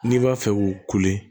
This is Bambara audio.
N'i b'a fɛ k'u kule